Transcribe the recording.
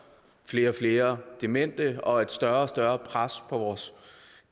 flere og flere demente og større og større pres på vores